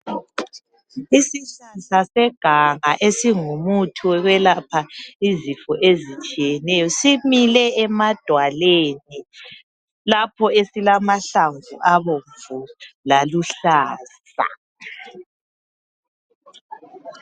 Isihlahla seganga esingumuthi wokwelapha izifo ezitshiyeneyo simile emadwaleni lapho esilamahlamvu abomvu laluhlaza.